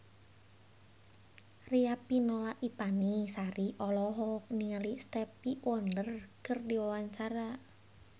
Riafinola Ifani Sari olohok ningali Stevie Wonder keur diwawancara